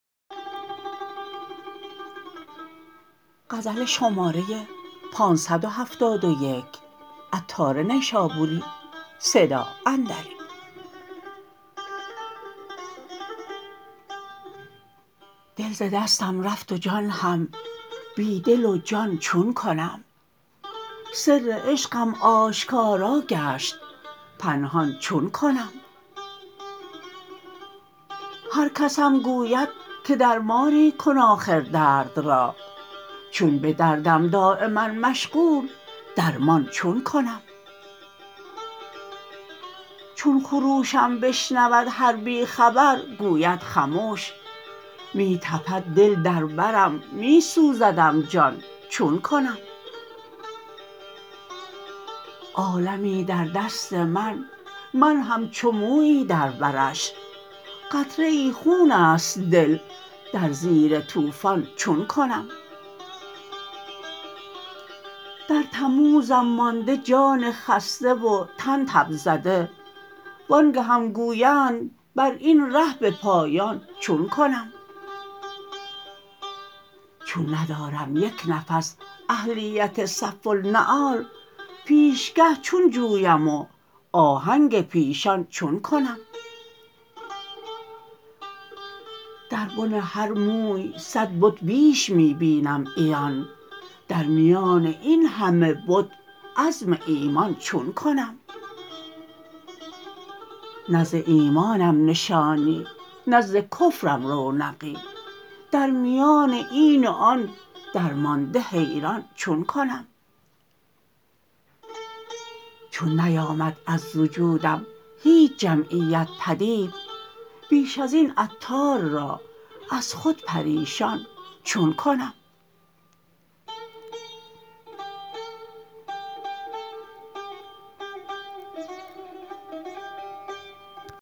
دل ز دستم رفت و جان هم بی دل و جان چون کنم سر عشقم آشکارا گشت پنهان چون کنم هرکسم گوید که درمانی کن آخر درد را چون به دردم دایما مشغول درمان چون کنم چون خروشم بشنود هر بی خبر گوید خموش می تپد دل در برم می سوزدم جان چون کنم عالمی در دست من من همچو مویی در برش قطره ای خون است دل در زیر طوفان چون کنم در تموزم مانده جان خسته و تن تب زده وآنگهم گویند براین ره به پایان چون کنم چون ندارم یک نفس اهلیت صف النعال پیشگه چون جویم و آهنگ پیشان چون کنم در بن هر موی صد بت بیش می بینم عیان در میان این همه بت عزم ایمان چون کنم نه ز ایمانم نشانی نه ز کفرم رونقی در میان این و آن درمانده حیران چون کنم چون نیامد از وجودم هیچ جمعیت پدید بیش ازین عطار را از خود پریشان چون کنم